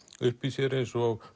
uppi í sér eins og